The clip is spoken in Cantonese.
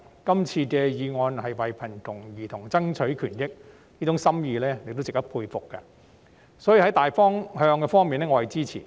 這項議案是為貧窮兒童爭取權益，箇中心意值得佩服，所以在大方向上我是支持的。